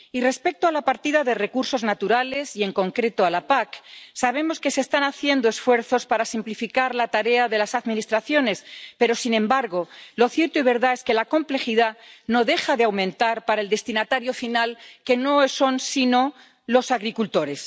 Y respecto a la partida de recursos naturales, y en concreto a la PAC, sabemos que se están haciendo esfuerzos para simplificar la tarea de las administraciones, pero sin embargo lo cierto y verdad es que la complejidad no deja de aumentar para el destinatario final, que no son sino los agricultores.